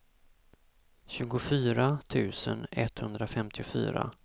tjugofyra tusen etthundrafemtiofyra